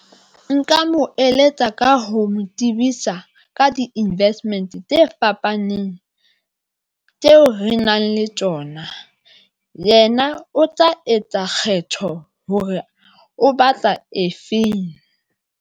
Nka mo eletsa ka ho mo tsebisa ka di-investment tse fapaneng tseo re nang le tsona. Yena o tla etsa kgetho hore o batla efeng.